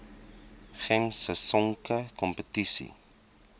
gems sisonke kompetisie